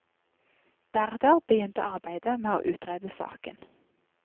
Deretter begynte arbeidet med å utrede saken.